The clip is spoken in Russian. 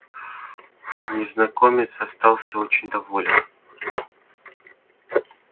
незнакомец остался очень доволен